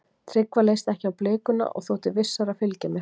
Tryggva leist ekki á blikuna og þótti vissara að fylgja mér.